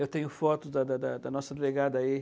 Eu tenho foto da da da da nossa delegada aí.